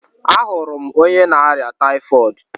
A hụrụ m onye na-arịa tayifọọdu